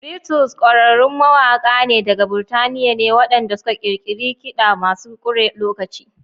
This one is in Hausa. Beatles ƙwararrun mawaka ne daga Burtaniya ne waɗanda suka ƙirƙiri kidamasu kure lokaci.